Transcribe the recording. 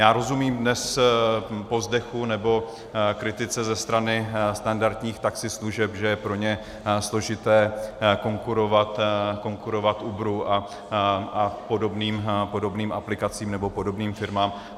Já rozumím dnes povzdechu nebo kritice ze strany standardních taxislužeb, že je pro ně složité konkurovat Uberu a podobným aplikacím nebo podobným firmám.